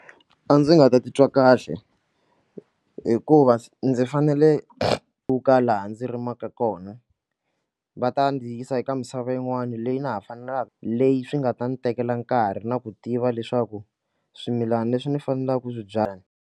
A ndzi nga ta titwa kahle hikuva ndzi fanele ku ka laha ndzi rimaka kona va ta ndzi yisa eka misava yin'wani leyi na ha faneleke leyi swi nga ta ndzi tekela nkarhi na ku tiva leswaku swimilana leswi ni faneleke ku swi byala.